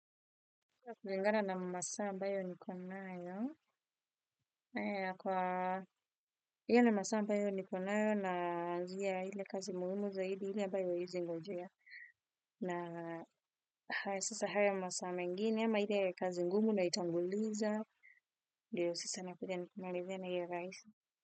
Kwa kulingana na masaa ambayo niko nayo, kwa hiyo na masaa ambayo nikonayo na njia ile kazi muhimu zaidi ile ambayo haiwezi ngojea. Na haya sasa haya masaa mengine ama ile kazi ngumu naitanguliza ndio sasa nakuja nikimalizia na hiyo rahisi.